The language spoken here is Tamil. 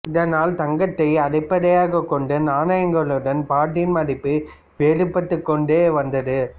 இதனால் தங்கத்தை அடிப்படையாகக் கொண்ட நாணயங்களுடன் பாட்டின் மதிப்பு வேறுபட்டுக்கொண்டு வந்தது